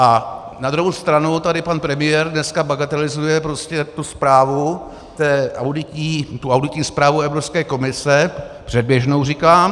A na druhou stranu tady pan premiér dneska bagatelizuje prostě tu zprávu, tu auditní zprávu Evropské komise, předběžnou, říkám.